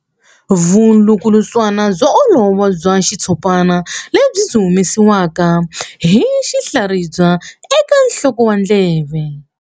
Vulukulutswana byo olova bya xitshopana lebyi byi humesiwaka hi tinhlaribya eka nsoko wa ndleve.